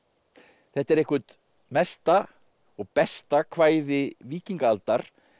þetta er eitthvert mesta og besta kvæði víkingaaldar